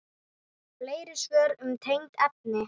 Fleiri svör um tengd efni